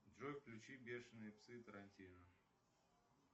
джой включи бешенные псы тарантино